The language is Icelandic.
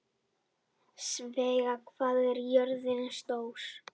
Svea, hvað er jörðin stór?